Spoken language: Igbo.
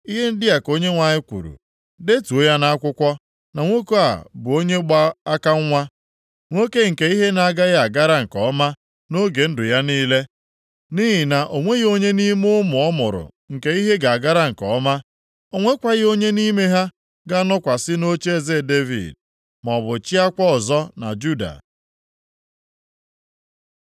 Ihe ndị a ka Onyenwe anyị kwuru: “Detuo ya nʼakwụkwọ na nwoke a bụ onye gba aka nwa, nwoke nke ihe na-agaghị agara nke ọma nʼoge ndụ ya niile, nʼihi na o nweghị onye nʼime ụmụ ọ mụrụ nke ihe ga-agara nke ọma, o nwekwaghị onye nʼime ha ga-anọkwasị nʼocheeze Devid, maọbụ chịakwa ọzọ na Juda.”